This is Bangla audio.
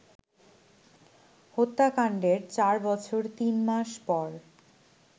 হত্যাকান্ডের চার বছর তিন মাস পর